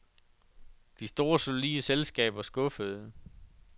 De store solide selskaber skuffede.